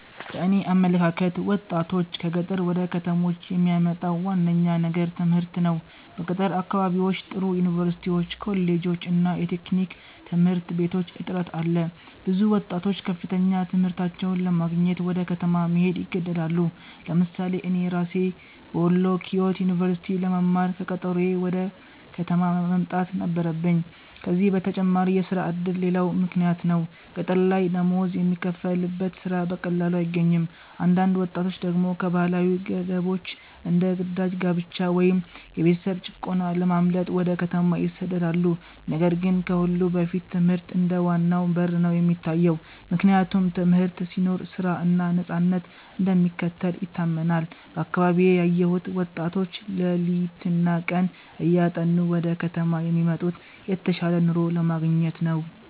በእኔ አመለካከት ወጣቶችን ከገጠር ወደ ከተሞች የሚያመጣው ዋነኛው ነገር ትምህርት ነው። በገጠር አካባቢዎች ጥሩ ዩኒቨርሲቲዎች፣ ኮሌጆች እና የቴክኒክ ትምህርት ቤቶች እጥረት አለ። ብዙ ወጣቶች ከፍተኛ ትምህርታቸውን ለማግኘት ወደ ከተማ መሄድ ይገደዳሉ። ለምሳሌ እኔ ራሴ በወሎ ኪዮት ዩኒቨርሲቲ ለመማር ከቀጠሮዬ ወደ ከተማ መምጣት ነበረብኝ። ከዚህ በተጨማሪ የሥራ ዕድል ሌላው ምክንያት ነው፤ ገጠር ላይ ደሞዝ የሚከፈልበት ሥራ በቀላሉ አይገኝም። አንዳንድ ወጣቶች ደግሞ ከባህላዊ ገደቦች እንደ ግዳጅ ጋብቻ ወይም የቤተሰብ ጭቆና ለማምለጥ ወደ ከተማ ይሰደዳሉ። ነገር ግን ከሁሉ በላይ ትምህርት እንደ ዋናው በር ነው የሚታየው፤ ምክንያቱም ትምህርት ሲኖር ሥራ እና ነፃነት እንደሚከተል ይታመናል። በአካባቢዬ ያየሁት ወጣቶች ሌሊትና ቀን እያጠኑ ወደ ከተማ የሚመጡት የተሻለ ኑሮ ለማግኘት ነው።